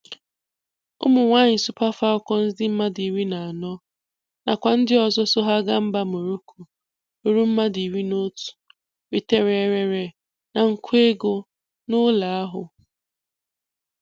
Ụmụ nwanyị Super Falcons dị mmadụ iri na anọ, na kwa ndị ọzọ so ha gáá mba Moroko rụrụ mmadụ iri na otú, ritere éreré na nkwa égo na ụlọ ahụ.